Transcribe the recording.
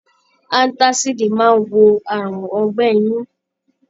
Antasidi máa n wo àrùn ọgbẹ inú.